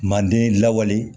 Manden lawale